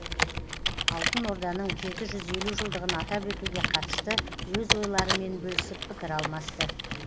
алтын орданың жеті жүз елу жылдығын атап өтуге қатысты өз ойларымен бөлісіп пікір алмасты